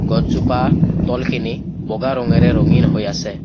গছজোপা তলখিনি বগা ৰঙেৰে ৰঙীন হৈ আছে।